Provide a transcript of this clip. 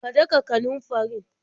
Ka daka kanunfarin?